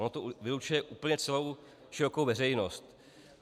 Ono to vylučuje úplně celou širokou veřejnost.